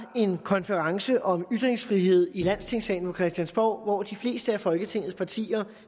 en konference om ytringsfrihed i landstingssalen på christiansborg hvor de fleste af folketingets partier